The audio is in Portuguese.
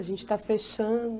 A gente está fechando...